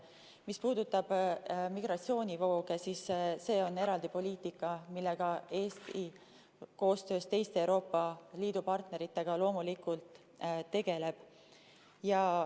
Mis puudutab migratsioonivooge, siis see on eraldi poliitika, millega Eesti koostöös teiste Euroopa Liidu partneritega loomulikult tegeleb.